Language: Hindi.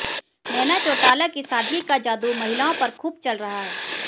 नैना चौटाला की सादगी का जादू महिलाओं पर खूब चल रहा है